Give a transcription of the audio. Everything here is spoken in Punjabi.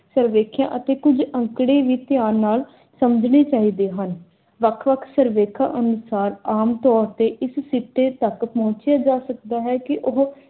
ਸਰਵੇਖੇਆ ਅਤੇ ਕੁਝ ਅੰਕੜੇ ਵੀ ਧਿਆਨ ਨਾਲ ਸਮਝਣੇ ਚਾਹੀਦੇ ਹਨ। ਵੱਖ-ਵੱਖ ਸਰਵੇਖਾ ਅਨੁਸਾਰ ਆਮ ਤੌਰ ਤੇ ਇਸ ਸਿੱਟੇ ਤੱਕ ਪਹੁੰਚਿਆ ਜਾ ਸਕਦਾ ਹੈ ਕੇ ਉਹ